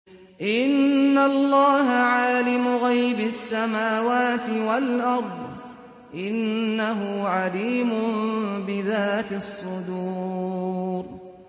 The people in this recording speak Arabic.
إِنَّ اللَّهَ عَالِمُ غَيْبِ السَّمَاوَاتِ وَالْأَرْضِ ۚ إِنَّهُ عَلِيمٌ بِذَاتِ الصُّدُورِ